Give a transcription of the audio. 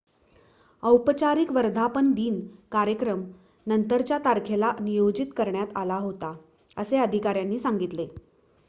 औपचारिक वर्धापनदिन कार्यक्रम नंतरच्या तारखेला नियोजित करण्यात आला होता असे अधिकाऱ्यांनी सांगितले